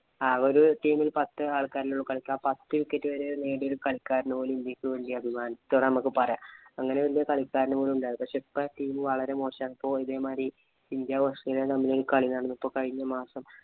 ആ ഒരു team ഇല്‍ പത്ത് ആള്‍ക്കാരെ ഉള്ളൂ കളിക്കാന്‍. പത്ത് wicket വരെ നേടിയ ഒരു കളിക്കാരനും പോലും ഇന്ത്യക്ക് വേണ്ടി അഭിമാനത്തോടെ നമ്മക്ക് പറയാം. അങ്ങനെ വലിയ കളിക്കാര് വരെ ഉണ്ടായിരുന്നു. പക്ഷേ, ഇപ്പം team വളരെ മോശമാണ്. ഇപ്പൊ ഇതേമാതിരി ഇന്ത്യ - ഓസ്ട്രേലിയ തമ്മിലുള്ള ഒരു കളിയാണ്‌ കഴിഞ്ഞ മാസം